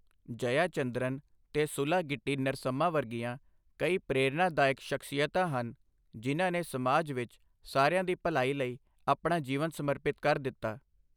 ਜਯਾ ਚੰਦਰਨ ਤੇ ਸੁਲਾਗਿੱਟੀ ਨਰਸੱਮਾ ਵਰਗੀਆਂ ਕਈ ਪ੍ਰੇਰਣਾਦਾਇੱਕ ਸ਼ਖਸੀਅਤਾਂ ਹਨ, ਜਿਨ੍ਹਾਂ ਨੇ ਸਮਾਜ ਵਿੱਚ ਸਾਰਿਆਂ ਦੀ ਭਲਾਈ ਲਈ ਆਪਣਾ ਜੀਵਨ ਸਮਰਪਿਤ ਕਰ ਦਿੱਤਾ।